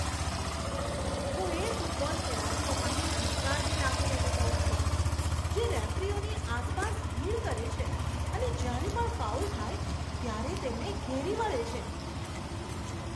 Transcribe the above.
હું એ ફૂટબોલ ખેલાડીઓ માટે ધિક્કારની લાગણી અનુભવું છું, જે રેફરીઓની આસપાસ ભીડ કરે છે અને જ્યારે પણ ફાઉલ થાય ત્યારે તેમને ઘેરી વળે છે.